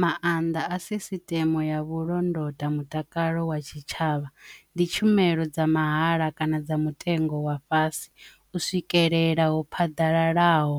Maanḓa a sisiteme ya vhulondoti mutakalo wa tshitshavha ndi tshumelo dza mahala kana dza mutengo wa fhasi u swikelelaho phaḓalala naho